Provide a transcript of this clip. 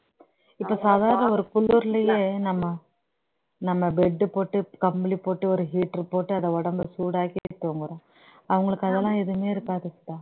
இபோ சாதாரண ஒரு குளிர்லயே நம்ம நம்ம bedsheet போட்டு கம்பளி போட்டு ஒரு heater போட்டு அதை உடம்ப சூடாக்கிட்டு தூங்குறோம் அவங்களுக்கு அதெல்லாம் எதுமே இருக்காது சுதா